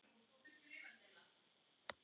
rikki- finnska